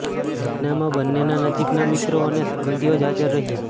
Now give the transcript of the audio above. લગ્નમાં બંનેના નજીકના મિત્રો અને સંબંધીઓ જ હાજર રહ્યાં